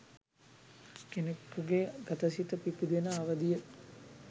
කෙනකුගේ ගත සිත පිබිදෙන අවධිය යි.